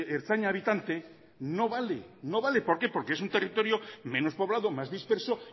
ertzaina habitante no vale no vale por qué porque es un territorio menos poblado más disperso